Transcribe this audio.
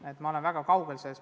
Ma olen sellest väga kaugel.